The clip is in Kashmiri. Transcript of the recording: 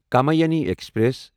کمایانی ایکسپریس